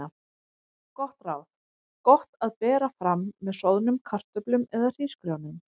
Gott ráð: Gott að bera fram með soðnum kartöflum eða hrísgrjónum.